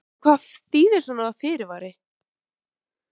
En hvað þýðir svona fyrirvari?